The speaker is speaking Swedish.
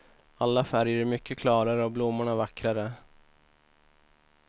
Alla färger är mycket klarare och blommorna vackrare.